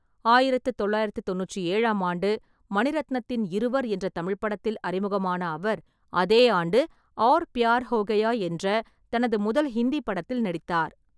ஆயிரத்து தொள்ளாயிரத்து தொண்ணூற்று ஏழாம் ஆண்டு மணிரத்னத்தின் இருவர் என்ற தமிழ் படத்தில் அறிமுகமான அவர், அதே ஆண்டு ஆர் பியார் ஹோ கயா என்ற தனது முதல் ஹிந்தி படத்தில் நடித்தார்.